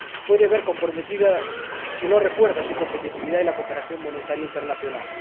Puede verse comprometida, si no refuerza su competitividad y la cooperación monetaria internacional.